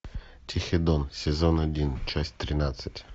тихий дон сезон один часть тринадцать